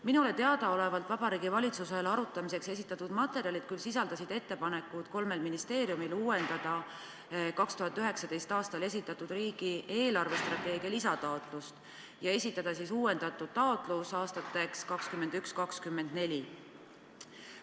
Minule teadaolevalt sisaldasid Vabariigi Valitsusele arutamiseks esitatud materjalid ettepanekut, et kolm ministeeriumi uuendaksid 2019. aastal esitatud riigi eelarvestrateegia raames esitatud lisataotlust, esitades uuendatud taotluse aastateks 2021–2024.